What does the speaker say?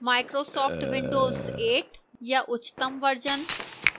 microsoft windows 8 या उच्चतम versions